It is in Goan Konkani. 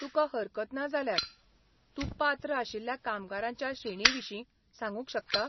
तुकां हरकत ना जाल्यार, तूं पात्र आशिल्ल्या कामगारांच्या श्रेणींविशीं सांगुंक शकता?